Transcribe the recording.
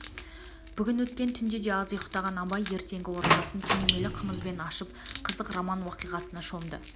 бүгін өткен түнде де аз ұйықтаған абай ертеңгі оразасын түнемелі қымызбен ашып қызық роман уақиғасына шомды